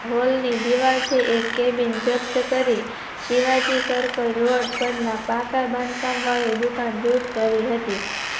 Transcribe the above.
hall ની દીવાલથી એક cabin જપ્ત કરી શિવાજી Circle રોડ પરના પાક બાંધકામ વાળી દુકાન દૂર કરી હતી